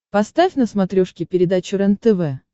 поставь на смотрешке передачу рентв